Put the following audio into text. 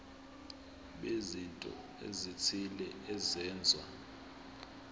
bezinto ezithile ezenziwa